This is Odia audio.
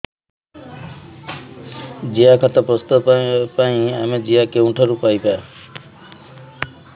ଜିଆଖତ ପ୍ରସ୍ତୁତ ପାଇଁ ଆମେ ଜିଆ କେଉଁଠାରୁ ପାଈବା